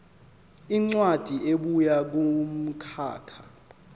incwadi ebuya kumkhakha